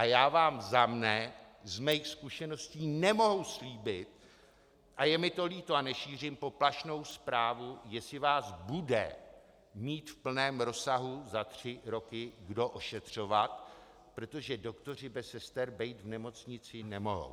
A já vám za sebe z mých zkušeností nemohu slíbit, a je mi to líto, a nešířím poplašnou zprávu, jestli vás bude mít v plném rozsahu za tři roky kdo ošetřovat, protože doktoři bez sester být v nemocnici nemohou.